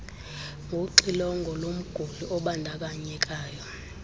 ngoxilongo lomguli obandakanyekayo